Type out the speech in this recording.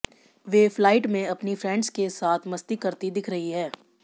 वे flight में अपनी friends के साथ मस्ती करती दिख रही है